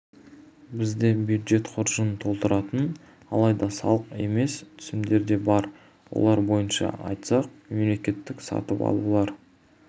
бізде бюджет қоржынын толтыратын алайда салықтық емес түсімдер де бар олар бойынша айтсақ мемлекеттік сатып алулар